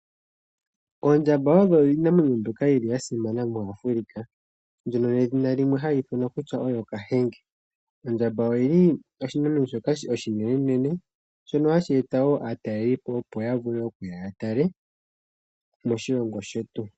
Oondjamba odho iinamwenyo mbyoka yi li ya simana moAfrica mbyono nedhina limwe hali ithanwa kutya oyo Kahenge. Ondjamba oyi li oshinamwenyo shoka oshinenenene shono hashi eta wo aatalelipo opo ya vule okuya ya tale moshilongo shetu.